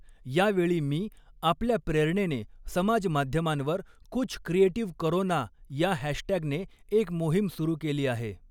या वेळी मी आपल्या प्रेरणेने समाज माध्यमांवर कुछ क्रिएटिव करो ना या हॅशटॅग ने एक मोहीम सुरु केली आहे.